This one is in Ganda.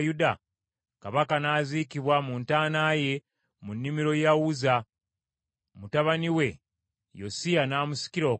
Kabaka n’aziikibwa mu ntaana ye mu nnimiro ya Uzza, mutabani we Yosiya n’amusikira okuba kabaka.